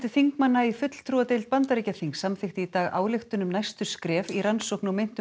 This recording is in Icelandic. þingmanna í fulltrúadeild Bandaríkjaþings samþykkti í dag ályktun um næstu skref í rannsókn á meintum